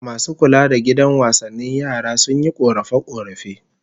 Masu kula da gidan wasannin yaran, sun yi korafe-korafe